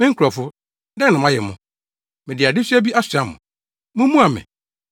“Me nkurɔfo, dɛn na mayɛ mo? Mede adesoa bi asoa mo? Mummua me!